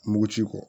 Mugu ci kɔ